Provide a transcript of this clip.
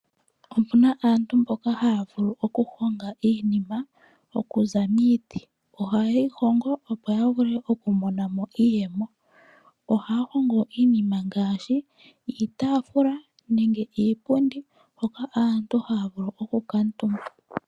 Opu na aantu mboka haa vulu okuhonga iinima oku za miiti. Oha yeyi hongo opo ya vule okumonamo iiyemo. Ohaa hongo iinima ngaashi iitaafula nenge iipundi hoka aantu haa vulu okukuutumba.